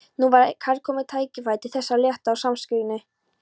Nú var kærkomið tækifæri til þess að létta á samviskunni.